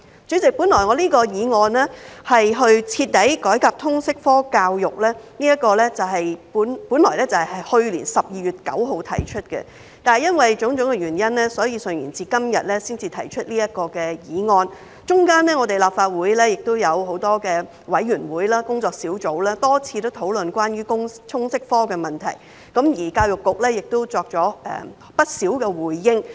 主席，我這項題為"徹底改革通識教育科"的議案本應在去年12月9日提出，但由於種種原因順延至今天才提出，其間立法會有很多委員會、工作小組多次討論關於通識科的問題，而教育局也作出了不少回應。